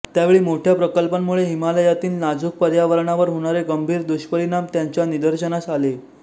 त्यावेळी मोठ्या प्रकल्पांमुळे हिमालयातील नाजुक पर्यावरणावर होणारे गंभीर दुष्परिणाम त्यांच्या निदर्शनास आले